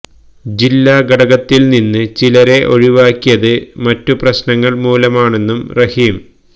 ജില്ലാ ഘടകത്തില് നിന്ന് ചിലരെ ഒഴിവാക്കിയത് മറ്റ് പ്രശ്നങ്ങള് മൂലമാണെന്നും റഹീം